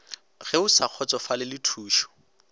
ge o sa kgotsofalele thušo